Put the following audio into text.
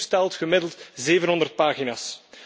Een prospectus telt gemiddeld 700 pagina's.